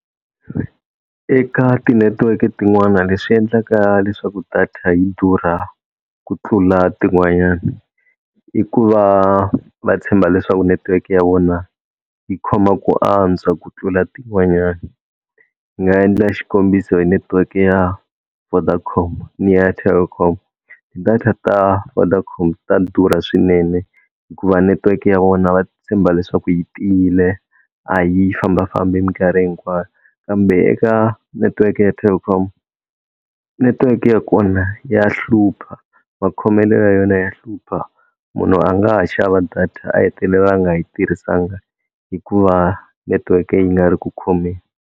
Eka tinetiweke tin'wana leswi endlaka leswaku data yi durha ku tlula tin'wanyani i ku va va tshemba leswaku netiweke ya vona yi khoma ku antswa ku tlula tin'wanyani, ndzi nga endla xikombiso netiweke ya Vodacom ni ya Telkom, data ta Vodacom ta durha swinene hikuva netiweke ya vona va tshemba leswaku yi tiyile a yi fambafambi minkarhi hinkwayo, kambe eka netiweke ya Telkom netiweke ya kona ya hlupha makhomelo ya yona ya hlupha munhu a nga ha xava data a hetelela a nga yi tirhisanga hikuva netiweke yi nga ri ku khomeni.